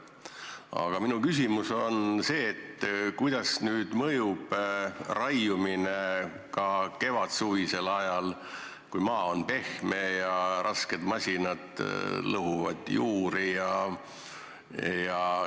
Aga minu küsimus on järgmine: kuidas mõjub metsale raiumine kevadsuvisel ajal, kui maa on pehme ja rasked masinad lõhuvad juuri?